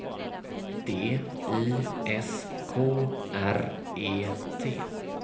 D I S K R E T